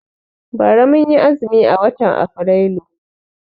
Bara mun yi azumi a watan Afrilu.